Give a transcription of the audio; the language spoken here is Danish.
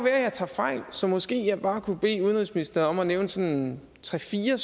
at jeg tager fejl så måske kunne jeg bare bede udenrigsministeren om at nævne sådan tre fire